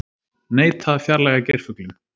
Neita að fjarlægja geirfuglinn